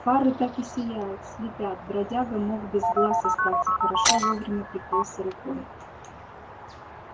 фары так и сияют слепят бродяга мог без глаз остаться хорошо вовремя прикрылся рукой